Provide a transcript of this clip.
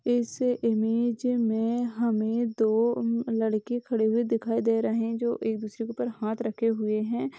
इस इमेज में हमें दो लड़के खड़े दिखाई दे रहे जो एक दूसरे के ऊपर हाथ रखे हुए हैं।